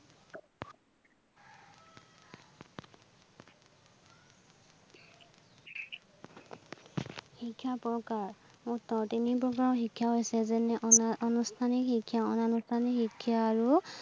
শিক্ষাৰ প্ৰকাৰ, তিনি প্ৰকাৰৰ শিক্ষা হৈছে যেনে, অনা অনুষ্ঠানিক শিক্ষা, অনানুষ্ঠানিক শিক্ষা আৰু